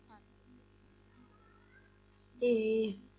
ਇਹ